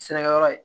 Sɛnɛkɛyɔrɔ ye